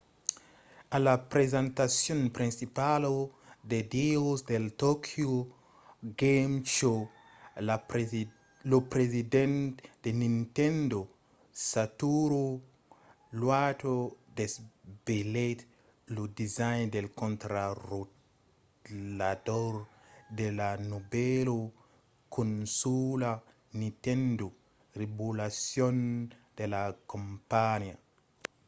a la presentacion principala de dijòus del tokyo game show lo president de nintendo satoru iwata desvelèt lo design del contrarotlador de la novèla consòla nintendo revolution de la companhiá